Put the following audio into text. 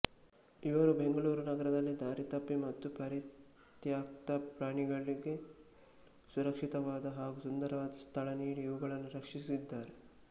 ಇವರು ಬೆಂಗಳೂರು ನಗರದಲ್ಲಿ ದಾರಿತಪ್ಪಿ ಮತ್ತು ಪರಿತ್ಯಕ್ತ ಪ್ರಾಣಿಗಳಿಗೆ ಸುರಕ್ಶಿತವಾದ ಹಾಗು ಸುಂದರವಾದ ಸ್ತಳನೀಡಿ ಇವುಗಳನ್ನು ರಕ್ಷಿಸಿದ್ದಾರೆ